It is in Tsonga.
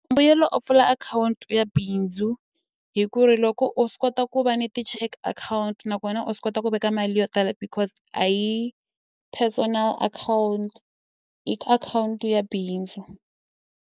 Mbuyelo o pfula akhawunti ya bindzu hi ku ri loko u swi kota ku va ni ti-cheque akhawunti nakona u swi kota ku veka mali yo tala because a hi yi personal akhawunti i ka akhawunti ya bindzu.